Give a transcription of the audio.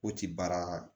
O ti baara